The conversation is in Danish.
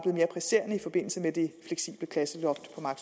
mere presserende i forbindelse med det fleksible klasseloft